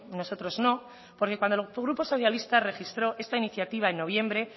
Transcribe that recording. nosotros no porque cuando el grupo socialista registró esta iniciativa en noviembre